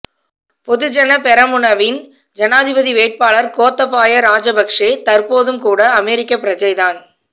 பொதுஜன பெரமுனவின் ஜனாதிபதி வேட்பாளர் கோத்தபாய ராஜபக்ஷ தற்போதும்கூட அமெரிக்க பிரஜைதான்